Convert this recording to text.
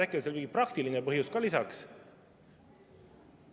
Äkki oli seal mingi praktiline põhjus ka lisaks?